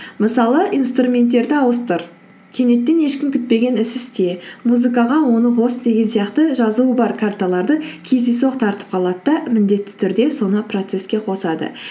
мысалы инструменттерді ауыстыр кенеттен ешкім күтпеген іс істе музыкаға оны қос деген сияқты жазуы бар карталарды кездейсоқ тартып қалады да міндетті түрде соны процесске қосады